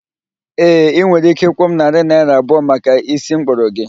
Ee, ị nwere ike ịkwụ m narị naịra abụọ maka ísí mkpụrụ gị